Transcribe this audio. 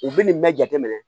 U bɛ nin bɛɛ jateminɛ